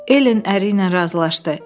Elen əri ilə razılaşdı: